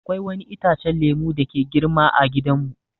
Akwai wani itacen lemu dake girma ã gidan mu.